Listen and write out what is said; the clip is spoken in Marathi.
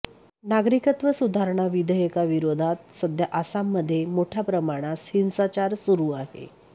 नागरिकत्व सुधारणा विधेयकाविरोधात सध्या आसाममध्ये मोठ्या प्रमाणास हिंसाचार सुरू आहे